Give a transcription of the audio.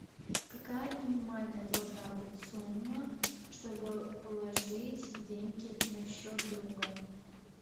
какая минимальная должна быть сумма чтобы положить деньги на счет друга